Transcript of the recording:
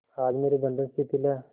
आज मेरे बंधन शिथिल हैं